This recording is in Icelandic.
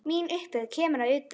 Mín upphefð kemur að utan.